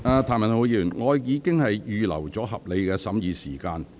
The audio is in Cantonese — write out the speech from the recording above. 譚文豪議員，我已經預留合理的審議時間。